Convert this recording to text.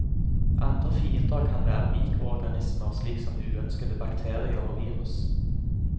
Andre fiender kan være mikroorganismer, slik som uønskede bakterier og virus.